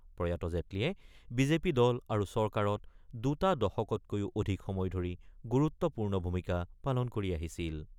প্ৰয়াত জেটলীয়ে বিজেপি দল আৰু চৰকাৰত দুটা দশকতকৈও অধিক সময় ধৰি গুৰুত্বপূৰ্ণ ভূমিকা পালন কৰি আহিছিল।